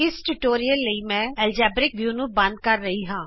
ਇਸ ਟਿਯੂਟੋਰਿਅਲ ਲਈ ਮੈਂ ਐਲਜੇਬਰਿਕ ਵਿਊ ਨੂੰ ਬੰਦ ਕਰ ਰਹੀ ਹਾਂ